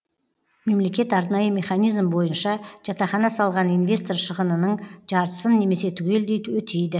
мемлекет арнайы механизм бойынша жатақхана салған инвестор шығынының жартысын немесе түгелдей өтейді